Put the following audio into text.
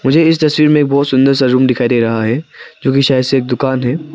मुझे इस तस्वीर में बहुत सुंदर सा रूम दिखाई दे रहा है जो की शायद से एक दुकान है।